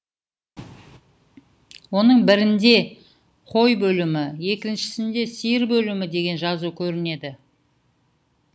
оның бірінде қой бөлімі екіншісінде сиыр бөлімі деген жазу көрінеді